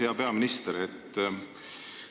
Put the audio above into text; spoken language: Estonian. Hea peaminister!